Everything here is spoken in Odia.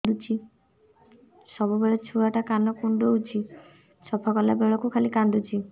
ସବୁବେଳେ ଛୁଆ ଟା କାନ କୁଣ୍ଡଉଚି ସଫା କଲା ବେଳକୁ ଖାଲି କାନ୍ଦୁଚି